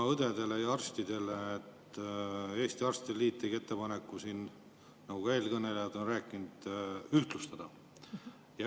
Õdede ja arstide lähtetoetuste kohta tegi Eesti Arstide Liit ettepaneku, nagu ka eelkõnelejad on rääkinud, neid ühtlustada.